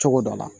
Cogo dɔ la